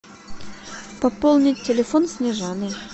пополнить телефон снежаны